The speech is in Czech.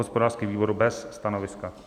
Hospodářský výbor: bez stanoviska.